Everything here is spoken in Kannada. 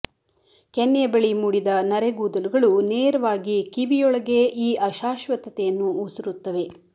ಕೆನ್ನೆಯ ಬಳಿ ಮೂಡಿದ ನರೆಗೂದಲುಗಳು ನೇರವಾಗಿ ಕಿವಿಯೊಳಗೇ ಈ ಅಶಾಶ್ವತತೆಯನ್ನು ಉಸುರುತ್ತವೆ